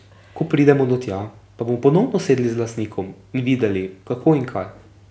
Ko pridemo do tja, pa bomo ponovno sedli z lastnikom in videli kako in kaj.